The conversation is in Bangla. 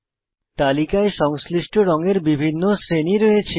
তালিকায় সংশ্লিষ্ট রঙের বিভিন্ন শ্রেণী রয়েছে